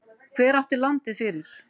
Hver átti landið fyrir?